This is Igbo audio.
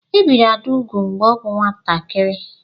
E biri Ada úgwù mgbe ọ bụ nwatakịrị.